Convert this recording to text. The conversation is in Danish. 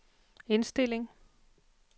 indstilling